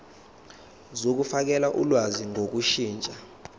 zokufakela ulwazi ngokushintsha